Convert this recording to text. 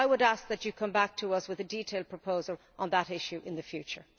I would ask that you come back to us with a detailed proposal on that issue in the future.